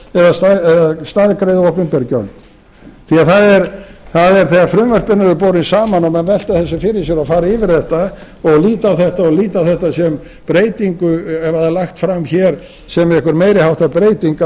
eða staðgreiða opinber gjöld því þegar frumvörpin eru borin saman og menn velta þessu fyrir sér og fara yfir þetta og líta á þetta sem breytingu ef það er lagt fram hér sem einhver meiri háttar